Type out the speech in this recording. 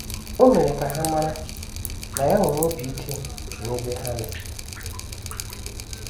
O mere ka ha mara na ya nwere obi ike n’ebe ha nọ.